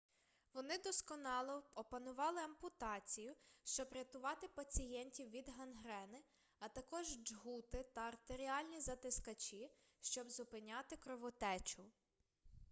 вони досконало опанували ампутацію щоб рятувати пацієнтів від гангрени а також джгути та артеріальні затискачі щоб зупиняти кровотечу